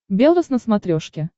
белрос на смотрешке